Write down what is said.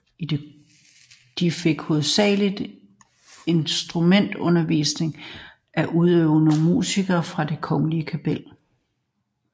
De fik hovedsagelig instrumentalundervisning af udøvende musikere fra Det Kongelige Kapel